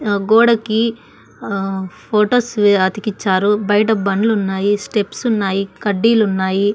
ఆ గోడకి ఆ ఫోటోస్ అతికిచారు బయట బండ్లు ఉన్నాయి స్టెప్స్ ఉన్నాయి కడ్డీలు ఉన్నాయి.